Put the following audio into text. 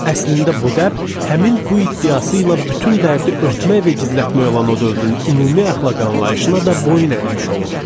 Əslində bu dəb həmin bu iddiası ilə bütün dərdi örtmək və gizlətmək olan o dövrün ümumi əxlaq anlayışına da boyun əymiş olurdu.